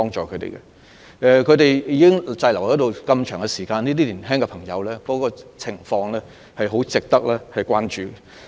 他們現時已經滯留了一段很長時間，這些青年人的情況相當值得關注。